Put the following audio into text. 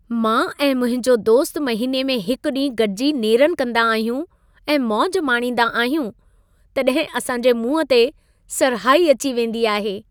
मां ऐं मुंहिंजो दोस्तु महिने में हिकु ॾींहुं गॾिजी नेरनि कंदा आहियूं ऐं मौज माणींदा आहियूं, तॾहिं असां जे मुंहं ते सरहाई अची वेंदी आहे।